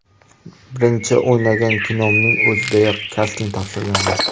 Birinchi o‘ynagan kinomning o‘zidayoq kasting topshirganman.